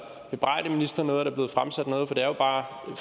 bebrejde ministeren noget at der er blevet fremsat noget for det er jo bare en